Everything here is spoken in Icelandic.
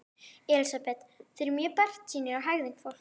Elísabet: Þið eruð mjög bjartsýnir á hegðun fólks?